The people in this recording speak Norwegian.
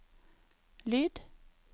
lyd